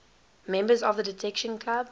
members of the detection club